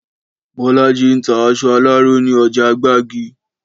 Bọ́lájí ń ta aṣọ aláró ní ọjà Gbágì